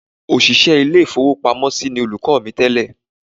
Òṣìṣẹ́ ilé ìfowópamọ́ ni olùkọ́ mi tẹ́lẹ̀